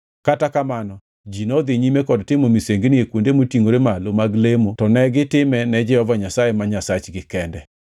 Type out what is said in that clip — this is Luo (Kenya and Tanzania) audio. Kata kamano, ji nodhi nyime kod timo misengini e kuonde motingʼore malo mag lemo to negitime ne Jehova Nyasaye ma Nyasachgi kende.